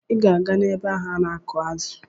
Ị ga-aga ebe ahụ ana-akụ̀ azụ!